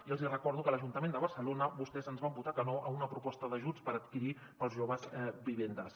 i els hi recordo que a l’ajuntament de barcelona vostès ens van votar que no a una proposta d’ajuts per adquirir pels joves vivendes